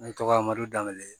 Ne tɔgɔ madu danbe